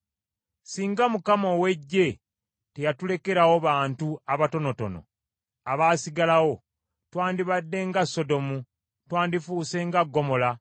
Singa Mukama ow’Eggye teyatulekerawo bantu abatonotono abaasigalawo twandibadde nga Sodomu, twandifuuse nga Ggomola.